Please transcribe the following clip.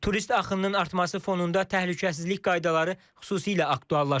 Turist axınının artması fonunda təhlükəsizlik qaydaları xüsusilə aktuallaşır.